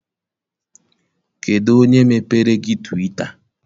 Kedụ onye mepere gị twita?